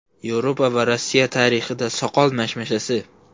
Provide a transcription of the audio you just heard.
Yevropa va Rossiya tarixida soqol mashmashasi.